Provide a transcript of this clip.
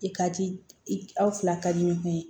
I ka ci i fila ka di ɲɔgɔn ye